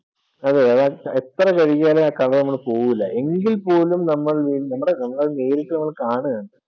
അതെതെ എത്ര കഴുകിയാലും ആ color പോകില്ല, എങ്കിൽ പോലും നമ്മൾ വീണ്ടും അത് കാണുകയാണ്